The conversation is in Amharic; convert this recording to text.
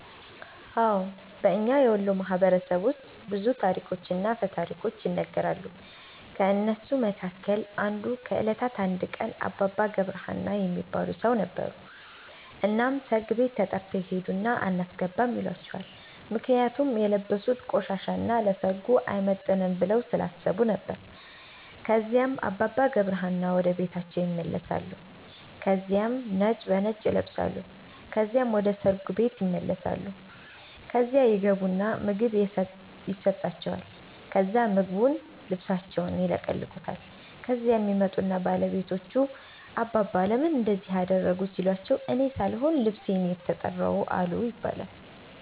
አዎን። በእኛ የወሎ ማህበረሰብ ውስጥ ብዙ ታሪኮችና አፈ ታሪኮች ይነገራሉ። ከእነሱ መካከል አንዱ ከእለታት አንድ ቀን አባባ ገብረ ሀና የሚባል ሠው ነበሩ። እናም ሠርግ ቤት ተተርተው ይሄድና አናስገባም ይሏቸዋል ምክንያቱም የለበሡት ቆሻሻ እና ለሠርጉ አይመጥንም ብለው ስላሠቡ ነበር። ከዚያም አባባ ገብረ ሀና ወደ ቤታቸው ይመለሳሉ ከዚያም ነጭ በነጭ ይለብሳሉ ከዚያም ወደ ሠርጉ ቤት ይመለሳሉ። ከዚያ ይገቡና ምግብ የሠጣቸዋል ከዛ ምግቡን ልብሣቸውን ይለቀልቁታል። ከዚያም ይመጡና ባለቤቶቹ አባባ ለምን እንደዚህ አደረጉ ሲሏቸው እኔ ሣልሆን ልብሤ ነው የተራው አሉ ይባላል።